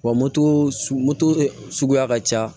Wa moto moto suguya ka ca